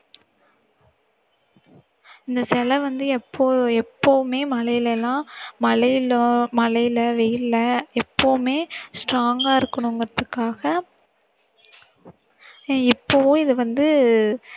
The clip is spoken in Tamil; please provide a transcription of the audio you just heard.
இந்த சிலை வந்து எப்போ~ எப்போவுமே மழையிலெல்லாம் மழையிலோ மழையில வெயில்ல எப்பவுமே strong ஆ இருக்கணுங்கிறதுக்காக எப்பவோ இதை வந்து